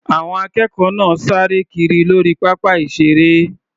Àwọn akẹ́kọ̀ọ́ náà sáré kiri lórí pápá ìṣeré.